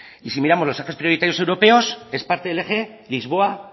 y si miramos los ejes prioritarios europeos es parte del eje lisboa